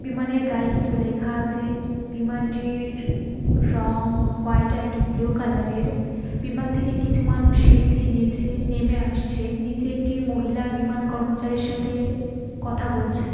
বিমানের গায়ে কিছু লেখা আছে। বিমানটির রং হোয়াট অ্যান্ড ব্লু কালার -এর বিমান থেকে কিছু মানুষ সিড়ি দিয়ে নীচে নেমে আসছে। নিচে একটি মহিলা বিমান কর্মচারীর সাথে কথা বলছে।